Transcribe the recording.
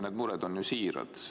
Need mured on siirad.